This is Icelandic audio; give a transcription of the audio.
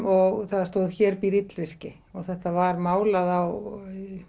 og það stóð hér býr illvirki þetta var málað á